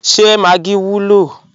Ṣé Maggi wùlọ?